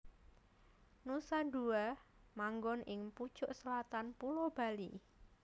Nusa Dua manggon ing pucuk selatan Pulo Bali